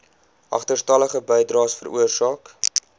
agterstallige bydraes veroorsaak